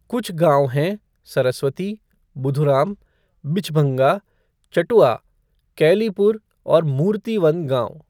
कुछ गांव हैं सरस्वती, बुधुराम, बिछभंगा, चटुआ, कैलीपुर और मूर्ति वन गांव।